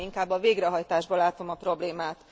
Nem, inkább a végrehajtásban látom a problémát.